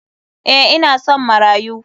Eh ina son marayu.